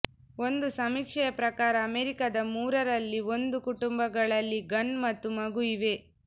ಒಂದು ಸಮೀಕ್ಷೆಯ ಪ್ರಕಾರ ಅಮೆರಿಕದ ಮೂರರಲ್ಲಿ ಒಂದು ಕುಟುಂಬಗಳಲ್ಲಿ ಗನ್ ಮತ್ತು ಮಗು ಇವೆ